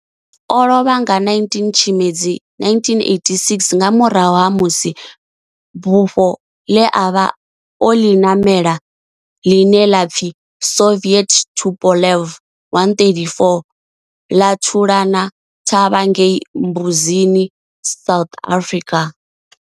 O lovha nga 19 Tshimedzi 1986 nga murahu ha musi bufho ḽe a vha o ḽi ṋamela, ḽine ḽa pfi Soviet Tupolev 134 ḽa thulana thavha ngei Mbuzini, South Africa.